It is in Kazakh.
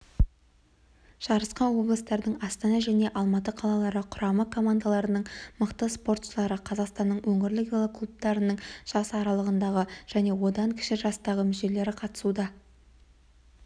жарысқа облыстардың астана және алматы қалалары құрама командаларының мықты спортшылары қазақстанның өңірлік велоклубтарының жас аралығындағы және одан кіші жастағы мүшелері қатысуда